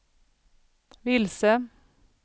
vilse